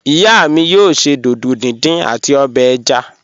Iya mi yoo ṣe dídò díndín ati obè ẹ̀já.